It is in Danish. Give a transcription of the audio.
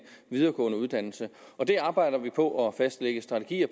videregående uddannelse og det arbejder vi på at fastlægge strategier